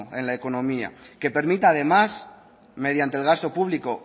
en la economía que permita además mediante el gasto público